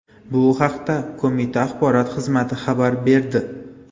Bu haqda qo‘mita axborot xizmati xabar berdi.